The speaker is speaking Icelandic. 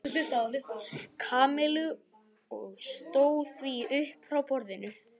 Kamillu og stóð því upp frá borðinu.